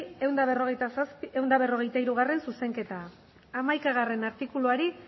ehun eta berrogeita hirugarrena zuzenketa hamaikagarrena artikuluari